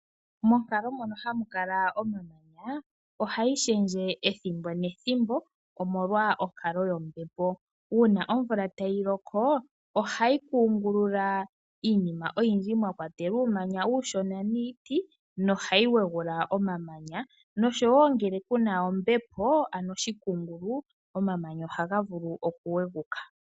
Monkalo mono hamu kala omamanya ohayi shendje ethimbo nethimbo omolwa onkalo yombepo. Uuna omvula tayi loko ohayi kungulula iinima oyindji mwa kwatelwa uumanya uushona niiti nohayi wegula omamanya noshowo ngele kuna ombepo ano oshikungulu omamanya ohaga vulu okuweguka.